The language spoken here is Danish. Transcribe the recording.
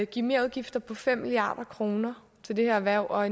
give merudgifter på fem milliard kroner til det her erhverv og